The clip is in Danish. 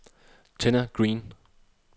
Tenna Green